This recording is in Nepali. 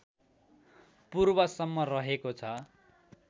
पूर्वसम्म रहेको छ